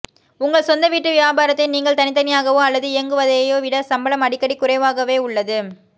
உங்கள் சொந்த வீட்டு வியாபாரத்தை நீங்கள் தனித்தனியாகவோ அல்லது இயங்குவதையோ விட சம்பளம் அடிக்கடி குறைவாகவே உள்ளது